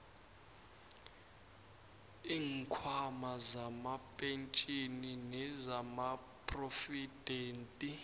iinkhwama zamapentjhini nezamaphrovidenti